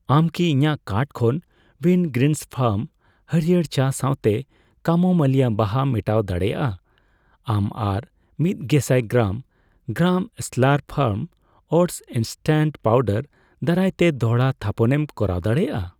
ᱟᱢ ᱠᱤ ᱤᱧᱟᱜ ᱠᱟᱨᱴ ᱠᱷᱚᱱ ᱣᱤᱱᱜᱨᱤᱱᱥ ᱯᱷᱟᱨᱢ ᱦᱟᱹᱲᱭᱟᱹᱨ ᱪᱟ ᱥᱟᱣᱛᱮ ᱠᱟᱢᱳᱢᱟᱭᱤᱞ ᱵᱟᱦᱟ ᱢᱮᱴᱟᱣ ᱫᱟᱲᱮᱭᱟᱜ ᱟᱢ ᱟᱨ ᱢᱤᱛᱜᱮᱥᱟᱭ gram , gram Slurrp farm oats instant powder ᱫᱟᱨᱟᱭᱛᱮ ᱫᱚᱲᱦᱟ ᱛᱷᱟᱯᱚᱱᱮᱢ ᱠᱚᱨᱟᱣ ᱫᱟᱲᱮᱭᱟᱜᱼᱟ ᱾